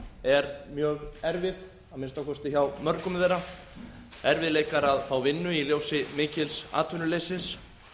er mjög erfið að minnsta kosti hjá mörgum þeirra erfiðleikar að fá vinnu í ljósi mikils atvinnuleysis